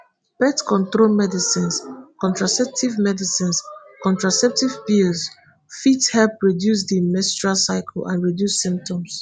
birth control medicines contraceptive medicines contraceptive pill fit help regulate di menstrual cycle and reduce symptoms